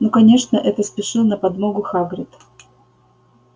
ну конечно это спешил на подмогу хагрид